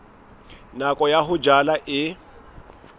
nako ya ho jala e